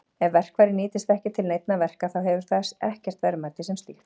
Ef verkfærið nýtist ekki til neinna verka þá hefur það ekkert verðmæti sem slíkt.